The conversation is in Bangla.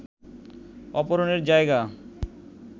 অপহরণের জায়গা